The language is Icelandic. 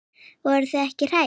Voruð þið ekkert hrædd?